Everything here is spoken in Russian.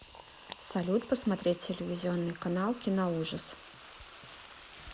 салют посмотреть телевизионный канал киноужас